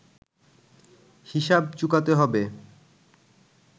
হিসাব চুকাতে হবে